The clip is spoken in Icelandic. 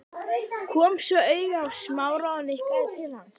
Kom svo auga á Smára og nikkaði til hans.